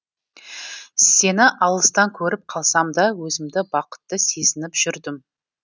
сені алыстан көріп қалсамда өзімді бақытты сезініп жүрдім